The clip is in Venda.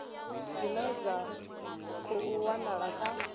dzine dza khou wanala kha